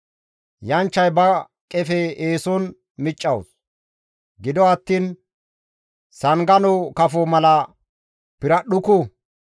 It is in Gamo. «Yanchchay ba qefe eeson miccawus; gido attiin sangano kafo mala piradhdhuku.